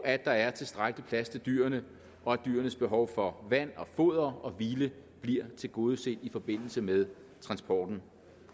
at der er tilstrækkelig plads til dyrene og at dyrenes behov for vand foder og hvile bliver tilgodeset i forbindelse med transporten